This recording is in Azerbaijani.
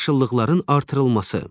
Yaşıllıqların artırılması.